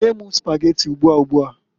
Nye m Spageti ugbua ugbuaǃ